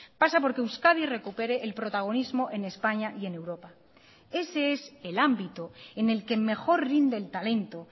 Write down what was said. pasa por que euskadi recupere el protagonismo en españa y en europa ese es el ámbito en el que mejor rinde el talento